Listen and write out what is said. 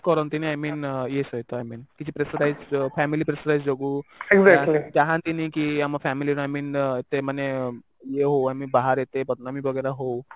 କରନ୍ତିନି I mean ଇଏ ସହିତ I mean pressure rise family pressure rise ଯୋଗୁ ଚାହାନ୍ତି ନି କି ଆମ family ର I mean ଏତେ ଇଏ ହଉ ଆମେ ବାହାରେ ଏତେ ବଦନାମୀ ବଗେରା ହଉ